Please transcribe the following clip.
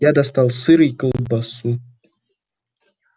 я достал сыр и колбасу